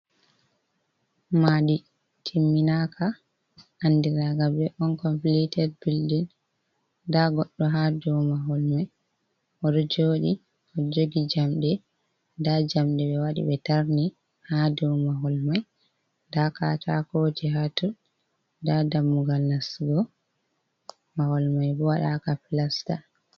Madi timminaka andiraga be on komplited bildin, nda goɗɗo ha dou mahol mai oɗo jodi oɗo jogi jamɗe nda jamɗe ɓe waɗi ɓe tarni ha dow mahol mai, nda katakoje hatoo nda dammugal nasugo mahol mai bo waɗaka plasta.